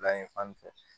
Bila ye fan min fɛ